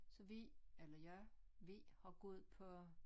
Så vi eller jeg vi har gået på